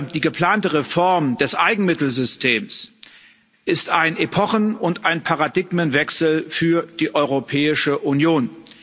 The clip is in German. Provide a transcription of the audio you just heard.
Die geplante Reform des Eigenmittelsystems ist ein Epochen und ein Paradigmenwechsel für die Europäische Union.